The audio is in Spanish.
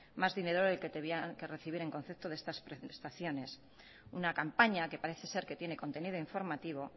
más dinero del que tenían que recibir en concepto de estas prestaciones una campaña que parece ser que tiene contenido informativo